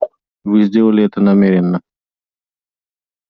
мы сделали это намеренно